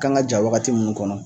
Kan ka ja wagati minnu kɔnɔ